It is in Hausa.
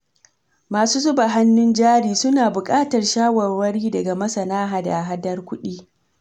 Masu zuba hannun jari, suna buƙatar shawarwari daga masana hada-hadar kuɗi.